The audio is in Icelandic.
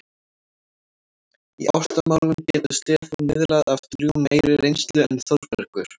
Í ástamálum getur Stefán miðlað af drjúgum meiri reynslu en Þórbergur.